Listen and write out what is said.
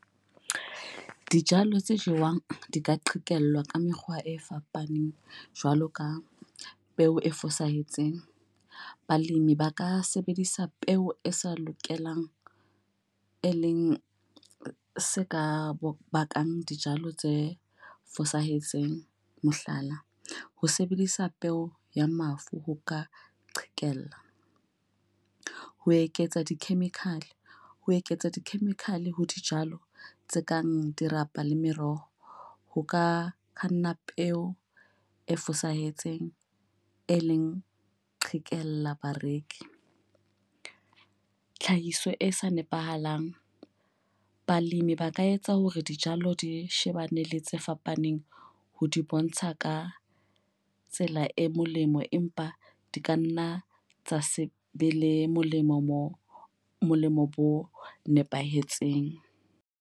Dijalo tse jewang di ka qhekellwa ka mekgwa e fapaneng jwalo ka peo e fosahetseng. Balemi ba ka sebedisa peo e sa lokelang, e leng se ka bakang dijalo tse fosahetseng. Mohlala, ho sebedisa peo ya mafu ho ka qhekella. Ho eketsa di-chemical. Ho eketsa di-chemical ho dijalo tse kang dirapa le meroho. Ho ka kanna peo e fosahetseng e leng qhekella bareki. Tlhahiso e sa nepahalang. Balemi ba ka etsa hore dijalo di shebane le tse fapaneng ho di bontsha ka tsela e molemo, empa di kanna tsa se be le molemo mo molemo bo nepahetseng.